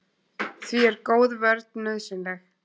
Því er góð vörn nauðsynleg.